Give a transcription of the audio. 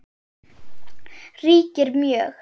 ríkir mjög.